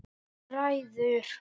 Þú ræður!